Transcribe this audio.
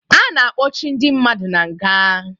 A na-akpọchi ndị mmadụ na nga